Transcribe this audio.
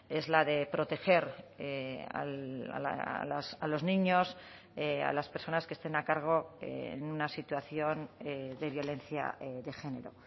es la de proteger a los niños a las personas que estén a cargo en una situación de violencia de género